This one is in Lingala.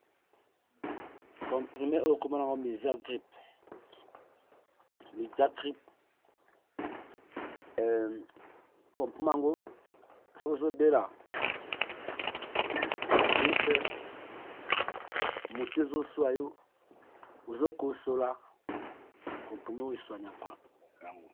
Comprimés oyo kombonayango mixacrip sokî ozo bela grippe ,mutu ezo suwa yo ozo KO sola comprimés oyo e soignant ka yango.